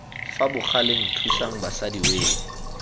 fa bogaleng thusang basadi wee